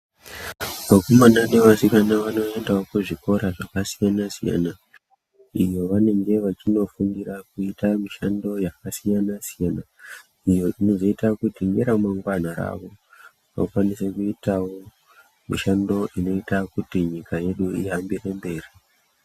Vakomana nevasikana vanoendawo kuzvikora zvakasiyana siyana iyo vanenge vachinofundira kuita mishando yakasiyana siyana iyo inozoita kuti neramangwana ravo vakwanise kuita mishando inozoita kuti nyika yedu ihambire mberi.